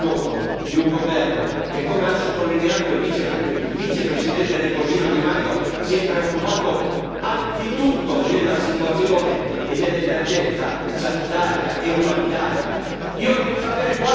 C'è voluto il gesto coraggioso di un governo che, come ha sottolineato il vicepresidente del Consiglio Di Maio, si è preoccupato, anzitutto, della situazione e dell'emergenza sanitaria e umanitaria.